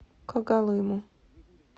когалыму